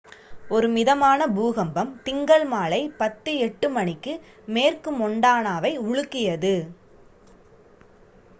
ஒரு மிதமான பூகம்பம் திங்கள் மாலை 10:08 மணிக்கு மேற்கு மொன்டானாவை உலுக்கியது